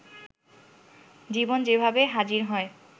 জীবন যেভাবে হাজির হয়